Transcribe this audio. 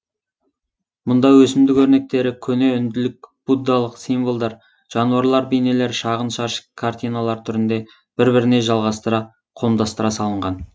мұнда өсімдік өрнектері көне үнділік буддалық символдар жануарлар бейнелері шағын шаршы картиналар түрінде бір біріне жалғастыра қомдастыра салынған